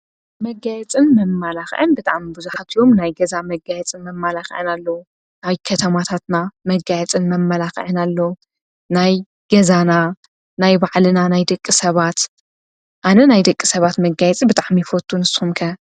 መጋየፅን መመላኽዕን ብጣዕሚ ብዙሓት እዮም ናይ ገዛ መጋየፅን መመላኽዕን ኣለው ናይ ከተማታትና መጋየፅን መመላኽዕን ኣለው ናይ ገዛና ናይ ባዕልና ናይ ደቂ ሰባት ኣነ ናይ ደቂ ሰባት መጋየፂ ብጣዕሚ ይፈቱ ። ንስኹም ከ ?